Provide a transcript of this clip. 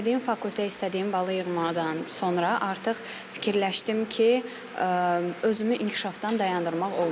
İstədiyim fakültə, istədiyim balı yığdıqdan sonra artıq fikirləşdim ki, özümü inkişafdan dayandırmaq olmaz.